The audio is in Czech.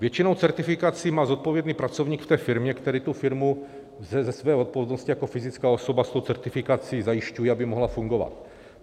Většinou certifikaci má zodpovědný pracovník v té firmě, který tu firmu ze své odpovědnosti jako fyzická osoba s tou certifikací zajišťuje, aby mohla fungovat.